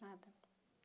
Nada.